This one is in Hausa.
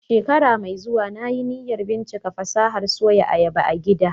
A shekara mai zuwa, na yi niyyar bincika fasahar Soya ayaba a gida